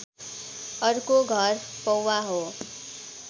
अर्को घर पौवा हो